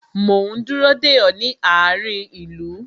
Mo ń dúró de ọ, ní àárín ìlú